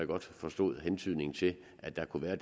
godt forstod hentydningen til at der kunne være